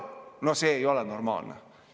No see ei ole normaalne.